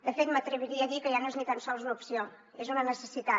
de fet m’atreviria a dir que ja no és ni tan sols una opció és una necessitat